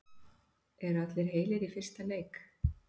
Eru allir heilir í fyrsta leik?